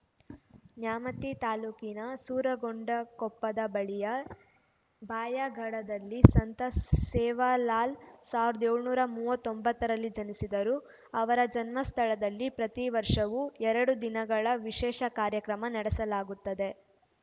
ನ್ಯಾಮತಿ ತಾಲೂಕಿನ ಸೂರಗೊಂಡನಕೊಪ್ಪದ ಬಳಿಯ ಭಾಯಾಗಢದಲ್ಲಿ ಸಂತ ಸೇವಾಲಾಲ್‌ ಸಾವಿರದ ಏಳುನೂರ ಮೂವತ್ತೊಂಬತ್ತರಲ್ಲಿ ಜನಿಸಿದ್ದರು ಅವರ ಜನ್ಮ ಸ್ಥಳದಲ್ಲಿ ಪ್ರತಿ ವರ್ಷವೂ ಎರಡು ದಿನಗಳ ವಿಶೇಷ ಕಾರ್ಯಕ್ರಮ ನಡೆಸಲಾಗುತ್ತದೆ